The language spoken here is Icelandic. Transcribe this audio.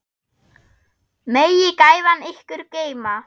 Megi gæfan ykkur geyma.